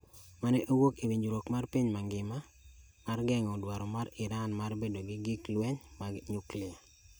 mane owuok e winjruok mar piny mangima mar geng’o dwaro mar Iran mar bedo gi gik lweny mag nyuklia